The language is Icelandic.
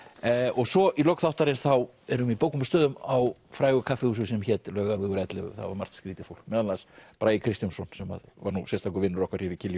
og svo í lok þáttarins erum við í bókum og stöðum á frægu kaffihúsi sem hét Laugavegur ellefu þar var margt skrýtið fólk meðal annars Bragi Kristjónsson sem var nú sérstakur vinur okkar hér í